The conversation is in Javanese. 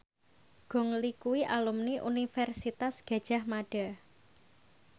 Gong Li kuwi alumni Universitas Gadjah Mada